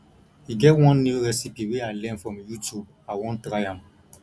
e get one new recipes wey i learn from youtube i wan try am